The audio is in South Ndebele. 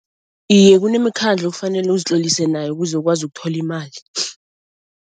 Iye kunemikhandlo ekufanele uzitlolise nayo kuze ukwazi ukuthola imali